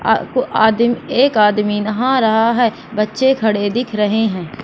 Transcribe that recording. आ को आ एक आदमी नहा रहा है बच्चे खड़े दिख रहे हैं।